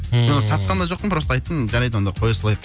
ммм мен оны сатқан да жоқпын просто айттым жарайды онда қоя салайық